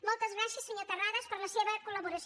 moltes gràcies senyor terrades per la seva collaboració